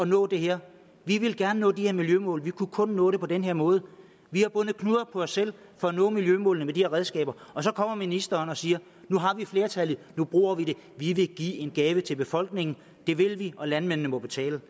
nå det her vi ville gerne nå de her miljømål vi kunne kun nå det på den her måde vi har bundet knuder på os selv for at nå miljømålene med de her redskaber og så kommer ministeren og siger nu har vi flertallet nu bruger vi det vi vil give en gave til befolkningen det vil vi og landmændene må betale